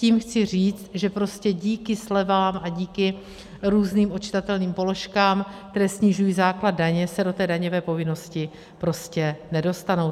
Tím chci říct, že prostě díky slevám a díky různým odčitatelným položkám, které snižují základ daně, se do té daňové povinnosti prostě nedostanou.